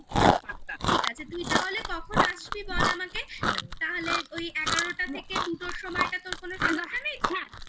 ঠিক আছে তুই তাহলে কখন আসবি বল আমাকে তাহলে ওই এগারোটা থেকে দুটোর সময়টা তোর কোন সমস্যা নেই?